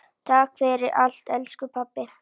Takk fyrir allt, elsku pabbi.